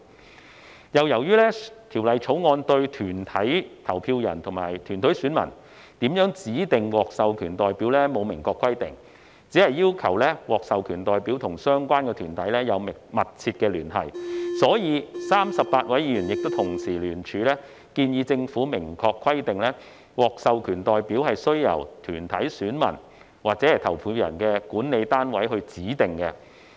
此外，由於《條例草案》對團體投票人及團體選民如何指定獲授權代表沒有明確規定，只要求獲授權代表與相關團體有密切聯繫，故此 ，38 位議員亦同時聯署建議政府明確規定獲授權代表須由團體選民或投票人的管理單位指定。